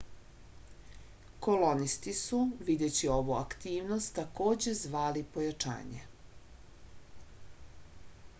kolonisti su videći ovu aktivnost takođe zvali pojačanje